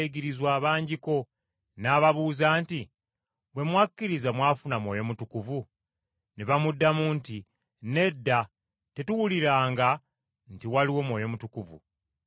n’ababuuza nti, “Bwe mwakkiriza mwafuna Mwoyo Mutukuvu?” Ne bamuddamu nti, “Nedda tetuwuliranga nti waliwo Mwoyo Mutukuvu.”